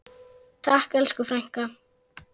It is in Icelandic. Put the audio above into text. Takk elsku frænka.